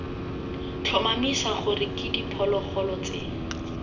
tlhomamisa gore ke diphologolo tse